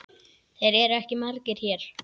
Þeir eru ekki margir hér.